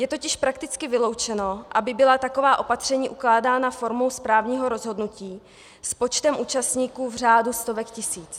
Je totiž prakticky vyloučeno, aby byla taková opatření ukládána formou správního rozhodnutí s počtem účastníků v řádu stovek tisíc.